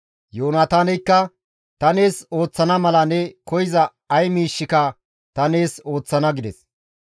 Yoonataaneykka, «Ta nees ooththana mala ne koyza ay miishshika ta nees ooththana» gides.